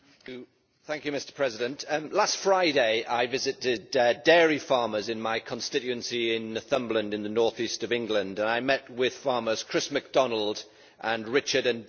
Mr President, last Friday I visited dairy farmers in my constituency in Northumberland in the north east of England and I met with farmers Chris McDonald and Richard and Dennis Gibb.